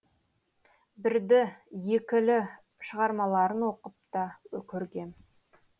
бірді екілі шығармаларын оқып та көргем